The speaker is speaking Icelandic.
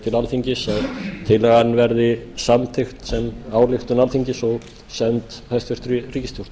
til alþingis að tillagan verði samþykkt sem ályktun alþingis og send hæstvirt ríkisstjórn